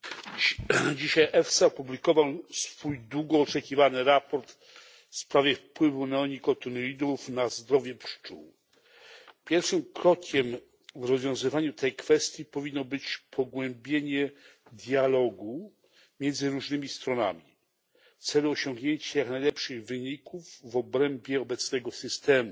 Pani Przewodnicząca! Dzisiaj EFSA opublikował swój długo oczekiwany raport w sprawie wpływu neonikotynoidów na zdrowie pszczół. Pierwszym krokiem w rozwiązywaniu tej kwestii powinno być pogłębienie dialogu między różnymi stronami w celu osiągnięcia jak najlepszych wyników w ramach obecnego systemu.